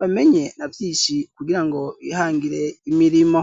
bamenye na vyinshi kugira ngo bihangire imirimo.